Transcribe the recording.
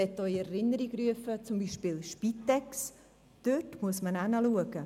Ich möchte Ihnen in Erinnerung rufen, dass man zum Beispiel bei der Spitex hinschauen muss.